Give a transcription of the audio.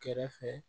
Kɛrɛfɛ